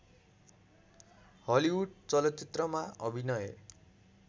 Hollywood चलचित्रमा अभिनय